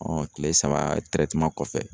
kile saba kɔfɛ.